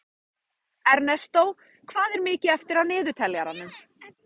Ernestó, hvað er mikið eftir af niðurteljaranum?